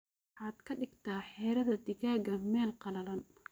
Waxaad kadigta xiradhaa digaaga mel qalalan.